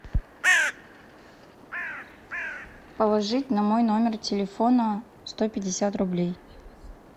положить на мой номер телефона сто пятьдесят рублей